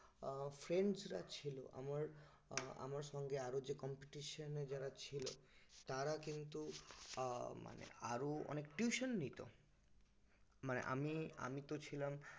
আহ friends ছিল আর আমার সঙ্গে আরও যে competition এ যারা ছিল তারা কিন্তু আহ মানে আরও অনেক tuition নিত মানে আমি আমি তো ছিলাম